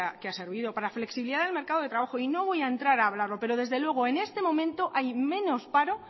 que ha servido para flexibilizar el mercado de trabajo y no voy a entrar a hablarlo pero desde luego en este momento hay menos paro